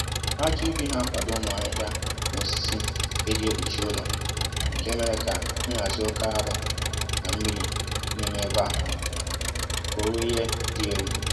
ájá ubi na akwado ụmụ ahịhịa na osisi e jì kpuchi ụlọ, nke mere kà nhazi oké arụ́ na mmiri n'ime ébé á kụrụ ihe dị élú